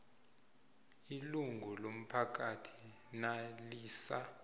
ilungu lomphakathi nalisa